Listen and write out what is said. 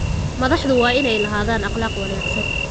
Madaxdu waa inay lahaadaan akhlaaq wanaagsan.